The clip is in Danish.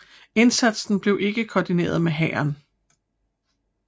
Indsatsen blev ikke koordineret med hæren